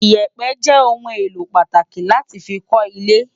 Iyèpè jè oùn éló pàtáki láti fi kò ilè